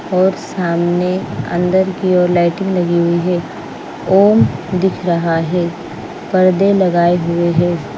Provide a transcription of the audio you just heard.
और सामने अंदर की ओर लाइटिंग लगी हुई है ओम दिख रहा है पर्दे लगाए हुए हैं।